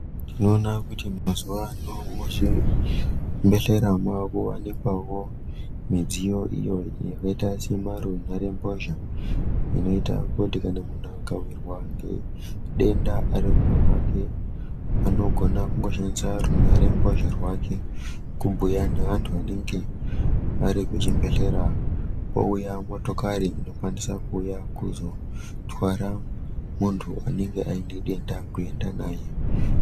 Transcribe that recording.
Tinoona kuti mazuwa ano muzvibhedhera mwawakuwanikwawo mudziyo iyo yakaita semarunhare mbozha inoita kuti kana muntu akawirwa ngedenda arikumba kwake anogona kungoshandisa runharembozha rake kubhuya neantu anenge arikuchibhedhlera kwouya motokari inokwanisa kuuya kuzotwara muntu anenge aine denda kuenda naye.